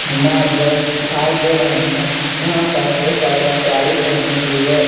मर्द दिखाई दे रहे है यहाँ पस एक औरत साड़ी पहनी हुई है।